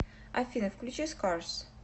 афина включи скарс